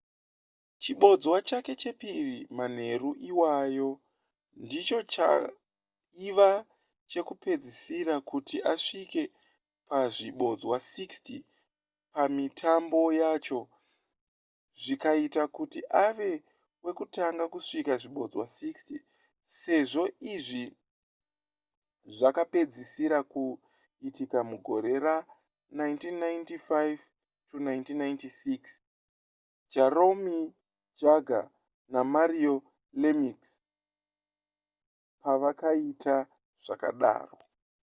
chibodzwa chake chechipiri manheru iwayo ndicho chaiva chekupedzisira kuti asvike pazvibodzwa 60 pamitambo yacho zvikaita kuti ave wekutanga kusvitsa zvibodzwa 60 sezvo izvi zvakapedzisira kuitika mugore ra1995-96 jaromir jagr namario lemieux pavakaita zvakadaro